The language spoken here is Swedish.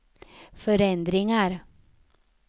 förändringar